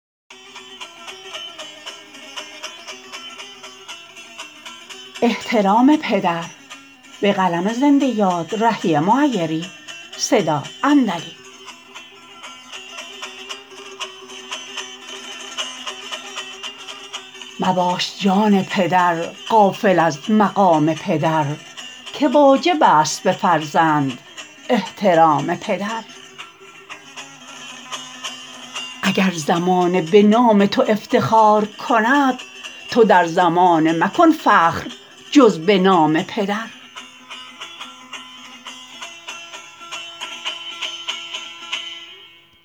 مباش جان پدر غافل از مقام پدر که واجب است به فرزند احترام پدر اگر زمانه به نام تو افتخار کند تو در زمانه مکن فخر جز به نام پدر